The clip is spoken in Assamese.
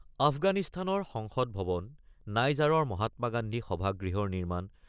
আফগানিস্তানৰ সংসদ ভৱন, নাইজাৰৰ মহাত্মা গান্ধী সভাগৃহৰ নিৰ্মাণ,